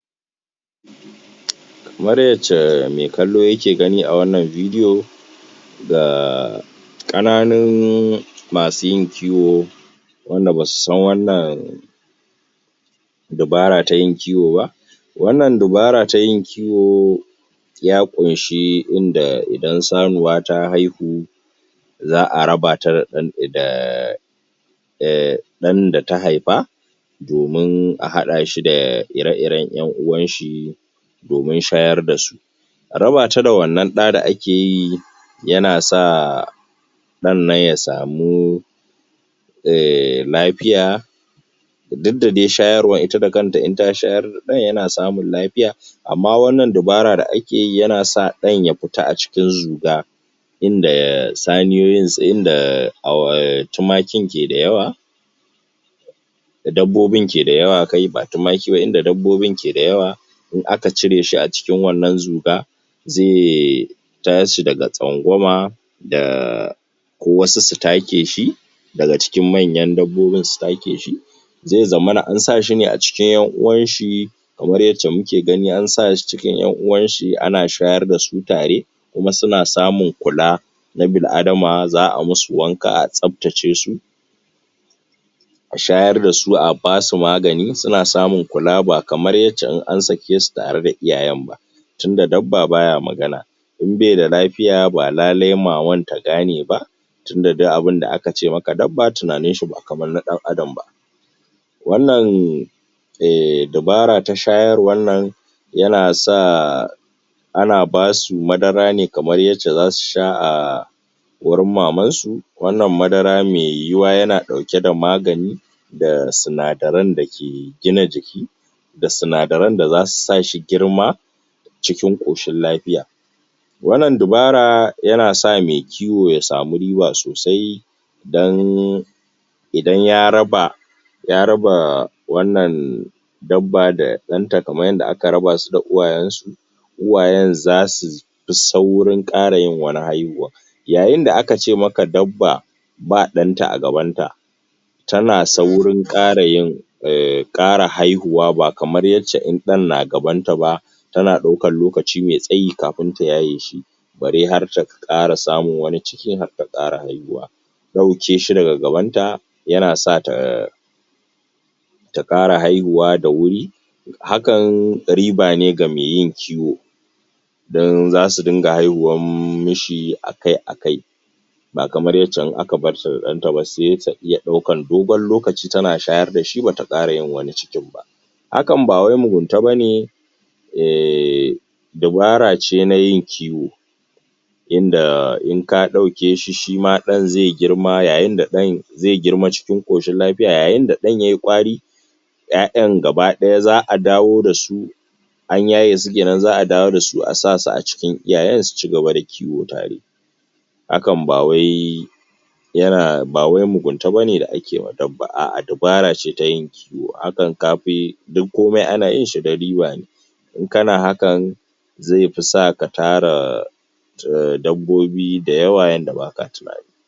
kamar yacca me kallo yake gani a wannan vedio ga ƙananun masu yin kiwo wanda basu san wannan dabara tayin kiwo ba wannan dabara tayin kiwo ya ƙunshi inda idan sanuwa ta haihu za'a raba ta ɗan daa ɗan data haifa domin a haɗa shi da ire iren ƴan uwan shi domin shayar dasu raba ta da wannan ɗa da ake yi yana sa ɗannan ya samu eeh lafiya duk da dai shayarwar ita da kanta in ta shayar da ɗan yana samun lafiya amma wannan dabara da ake yi yana sa ɗan ya fita a cikin zuga inda saniyoyin, inda tumaki ke da yawa dabbobin ke da yawa kai ba tumaki ba inda dabbobin ke da yawa in aka cire shi a cikin wannan zuga ze tashi daga tsangwama da wasu su take shi daga cikin manyan dabbobin su take shi ze zamana an sashi ne a cikin ƴan uwanshi kamar yacca muke gani an sashi cikin ƴan uwan shi ana shayar dasu tare kuma suna samun kula na bil adama za'a musu wanka a tsaftace su a shayar dasu a basu magani suna samun kula ba kamar yacca in an sake su tare da iyayen ba tunda dabba baya magana in baida lafiya ba lale maman ta gane ba tunda duk abun da aka ce maka dabba tunanin shi ba kamar na ɗan adam ba wannan eh dabara ta shayarwannan yana sa ana basu madara ne kamar yacca zasu sha a gurin maman su wannan madara meyuwuwa yana ɗauke da magani da sinadaran dake gina jiki da sinadaran da zasu sashi girma cikin ƙoshin lafiya wannan dubara yana sa me kiwo ya samu riba sosai dan idan ya raba ya raba wannan dabba da ɗanta kamar yanda aka raba su da uwayen su uwayen zasufi saurin ƙara yin wani haihuwan yayin da aka ce maka dabba ba ɗanta a gaban ta tana saurin ƙara yin ƙara haihuwa ba kamar yacca in ɗan na gaban ta ba tana ɗaukan lokaci me tsayi kafin ta yaye shi bare har ta ƙara samun wani ciki bare har ta ƙara haihuwa ɗauke shi daga gabanta yana sa ta ta ƙara haihuwa da wuri hakan riba ne ga me yin kiwo don zasu ringa haihuwan mishi akai akai ba kamar yacca in aka barta da ɗanta ba se ta iya ɗaukan dogon lokaci tana shayar dashi bata ƙara yin wani cikin ba hakan bawai mugunta bane bobara ce nayin kiwo inda inka ɗauke shi shima ɗan ze girma yayin da ɗan ze girma cikin ƙoshin lafiya yayin da ɗan yayi ƙwari ƴaƴan gaba ɗaya za'a dawo dasu an yaye su kenan za'a dawo dasu a sa su a cikin iyayen suci gaba da kiwo tare hakan bawai yana bawai muguta bane da ake wa dabba a'ah dubara ce tayin kiwo hakan kafi duk komai ana yinshi don riba ne in kana hakan zefi sa katara dabbobi da yawa yadda baka tunani